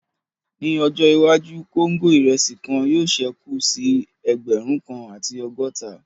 Ní ọjọ́ iwájú, kóńgò irẹsi kan yóò sẹ́kù sí ẹgbẹ̀rún kan àti ọgọ́ta